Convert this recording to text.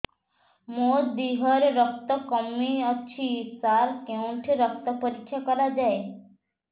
ମୋ ଦିହରେ ରକ୍ତ କମି ଅଛି ସାର କେଉଁଠି ରକ୍ତ ପରୀକ୍ଷା କରାଯାଏ